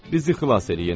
Bizi xilas eləyin!